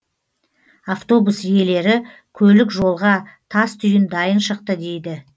автобус иелері көлік жолға тас түйін дайын шықты дейді